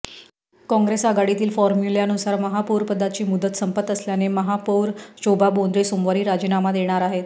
काँग्रेस आघाडीतील फॉर्म्युल्यानुसार महापौरपदाची मुदत संपत असल्याने महापौर शोभा बोंद्रे सोमवारी राजीनामा देणार आहेत